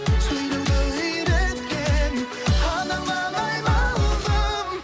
сөйлеуді үйреткен анаңнан айналдым